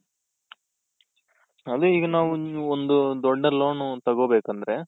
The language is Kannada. ಅದೆ ಈಗ ನಾವು ಒಂದು ದೊಡ್ಡ loan ಒಂದ್ ತಗೋ ಬೇಕಂದ್ರೆ ,